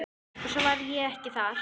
Og svo var ég ekki þar.